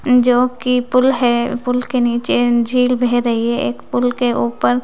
and जो की पुल है पुल के नीचे झील बेह रही है एक पुल के ऊपर--